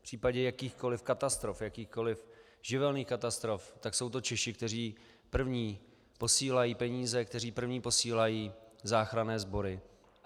V případě jakýchkoliv katastrof, jakýchkoliv živelních katastrof, tak jsou to Češi, kteří první posílají peníze, kteří první posílají záchranné sbory.